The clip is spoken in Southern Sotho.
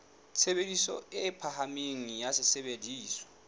tshebediso e phahameng ya sesebediswa